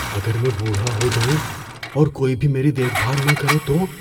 اگر میں بوڑھا ہو جاؤں اور کوئی بھی میری دیکھ بھال نہ کرے تو؟